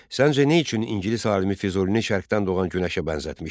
Səncə nə üçün ingilis alimi Füzulini Şərqdən doğan günəşə bənzətmişdir?